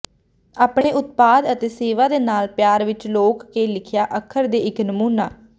ਆਪਣੇ ਉਤਪਾਦ ਅਤੇ ਸੇਵਾ ਦੇ ਨਾਲ ਪਿਆਰ ਵਿੱਚ ਲੋਕ ਕੇ ਲਿਖਿਆ ਅੱਖਰ ਦੇ ਇੱਕ ਨਮੂਨਾ